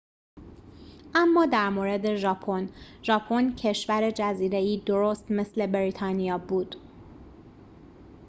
اما در مورد ژاپن ژاپن کشور جزیره‌ای درست مثل بریتانیا بود